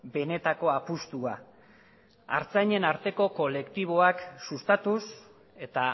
benetako apustua artzainen arteko kolektiboak sustatuz eta